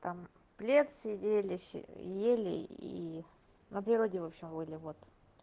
там плед сидели ели и на природе в общем были вот